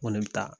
Ŋo ne bɛ taa